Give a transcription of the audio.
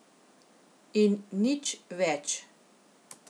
In nič več.